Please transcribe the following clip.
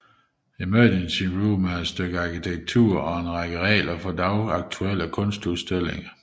Emergency Room er et stykke arkitektur og en række regler for dagsaktuelle kunstudstillinger